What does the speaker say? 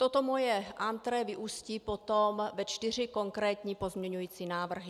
Toto moje entrée vyústí potom ve čtyři konkrétní pozměňovací návrhy.